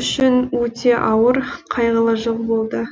үшін өте ауыр қайғылы жыл болды